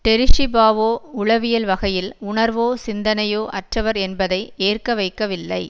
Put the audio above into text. Terry Schiavo உளவியல் வகையில் உணர்வோ சிந்தனையோ அற்றவர் என்பதை ஏற்க வைக்கவில்லை